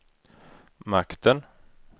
makten